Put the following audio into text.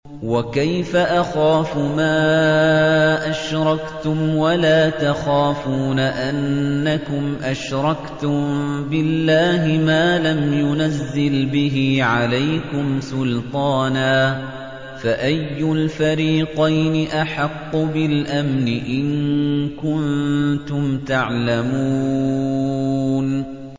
وَكَيْفَ أَخَافُ مَا أَشْرَكْتُمْ وَلَا تَخَافُونَ أَنَّكُمْ أَشْرَكْتُم بِاللَّهِ مَا لَمْ يُنَزِّلْ بِهِ عَلَيْكُمْ سُلْطَانًا ۚ فَأَيُّ الْفَرِيقَيْنِ أَحَقُّ بِالْأَمْنِ ۖ إِن كُنتُمْ تَعْلَمُونَ